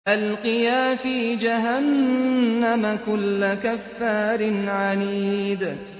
أَلْقِيَا فِي جَهَنَّمَ كُلَّ كَفَّارٍ عَنِيدٍ